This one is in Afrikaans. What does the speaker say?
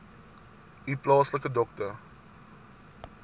u plaaslike dokter